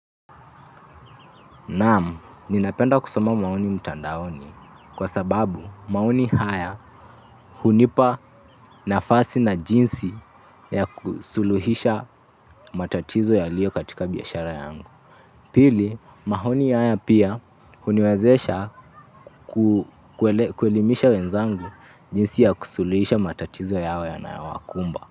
Naam, ninapenda kusoma maoni mtandaoni kwa sababu maoni haya hunipa nafasi na jinsi ya kusuluhisha matatizo yaliyo katika biashara yangu. Pili, maoni haya pia huniwezesha kuelimisha wenzangu jinsi ya kusuluhisha matatizo yao na yanayowakumba.